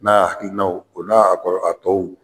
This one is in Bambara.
N'a hakilinaw o n'a a kɔrɔ a tɔw